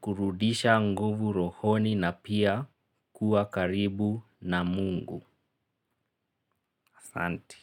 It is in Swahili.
kurudisha nguvu rohoni na pia kuwa karibu na mungu. Asanti.